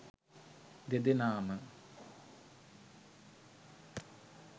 දෙදෙනාම